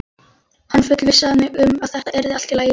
Hann fullvissaði mig um að þetta yrði allt í lagi.